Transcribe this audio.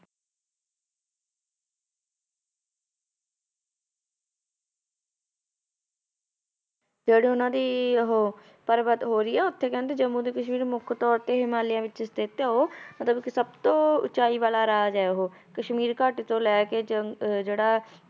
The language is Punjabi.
ਜਿਹੜੀ ਉਹਨਾਂ ਦੀ ਉਹ ਪਰਬਤ ਹੋਰ ਹੀ ਆ ਉੱਥੇ ਕਹਿੰਦੇ ਜੰਮੂ ਤੇ ਕਸ਼ਮੀਰ ਮੁੱਖ ਤੌਰ ਤੇ ਹਿਮਾਲਿਆ ਵਿੱਚ ਸਥਿੱਤ ਹੈ ਉਹ ਮਤਲਬ ਕਿ ਸਭ ਤੋਂ ਉਚਾਈ ਵਾਲਾ ਰਾਜ ਹੈ ਉਹ ਕਸ਼ਮੀਰ ਘਾਟੀ ਤੋਂ ਲੈ ਕੇ ਜ~ ਜਿਹੜਾ